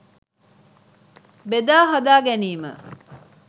බෙදා හදා ගැනීම